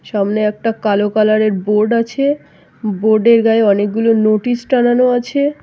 সামনে একটা কালো কালার এর বোর্ড আছে বোর্ড এর গায়ে অনেকগুলো নোটিশ টানানো আছে ।